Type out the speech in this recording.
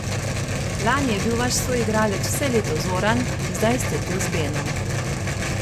Lani je bil vaš soigralec vse leto Zoran, zdaj ste tu z Benom.